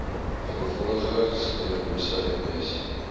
veelvuldige sklerose ms